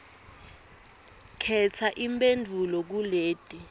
khetsa imphendvulo kuleti